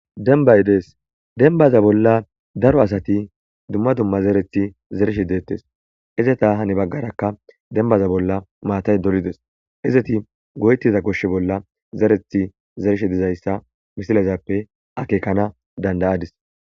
denbay dees denbaza bolla daro asati dumma dumma zerethi zerishe deettes izeta hani baggarakka dembaza bolla maatay dolides izeti goytiza koshshe bolla zerethi zerishe dizayssa misilezappe akeekana dandayadis